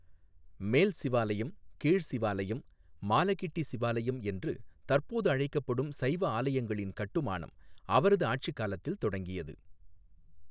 மேல் சிவாலயம், கீழ் சிவாலயம், மாலகிட்டி சிவாலயம் என்று தற்போது அழைக்கப்படும் சைவ ஆலயங்களின் கட்டுமானம் அவரது ஆட்சிக் காலத்தில் தொடங்கியது.